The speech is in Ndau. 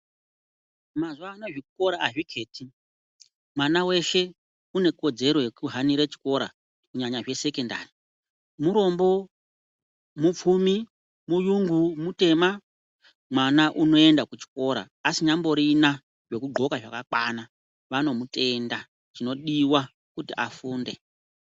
Mazuvano zvikora hazvikheti, mwana weshe unekodzero yekuhanira chikora kunyanya zvesekondari zvisinei nekuti murombo, mupfumi, muyungu, mutema. Mwana unoenda kuchikora asinyamborina zvekudhloka zvakakwana, chinodiwa kuti afunde.